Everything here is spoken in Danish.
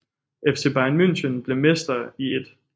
FC Bayern München blev mester i 1